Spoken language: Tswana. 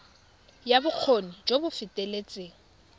ya bokgoni jo bo feteletseng